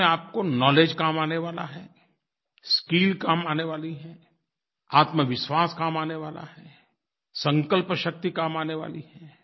जीवन में आपको नाउलेज काम आने वाला है स्किल काम आने वाली है आत्मविश्वास काम आने वाला है संकल्पशक्ति काम आने वाली है